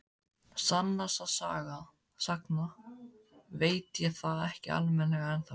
Sannast sagna veit ég það ekki almennilega ennþá.